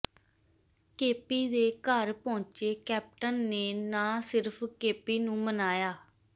KP ਦੇ ਘਰ ਪਹੁੰਚੇ ਕੈਪਟਨ ਨੇ ਨਾ ਸਿਰਫ ਕੇਪੀ ਨੂੰ ਮਨਾਇਆ